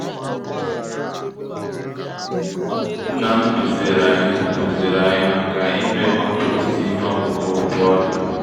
nnam kụziri anyị kụziri anyị maka ime compost ihe ọkụkụ bu ọrịa.